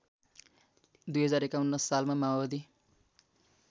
२०५१ सालमा माओवादी